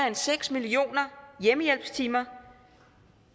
end seks millioner hjemmehjælpstimer